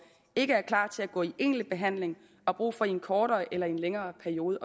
ikke er klar til at gå i egentlig behandling og har brug for i en kortere eller en længere periode